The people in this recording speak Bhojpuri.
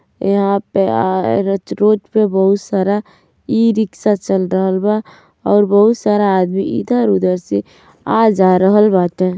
यहां पे रोड पर बहोत सारा ई-रिक्शा चल रहल बा और बहोत सारा आदमी इधर-उधर से आ-जा रहल बाटे।